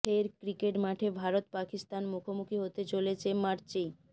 ফের ক্রিকেট মাঠে ভারত পাকিস্তান মুখোমুখি হতে চলেছে মার্চেই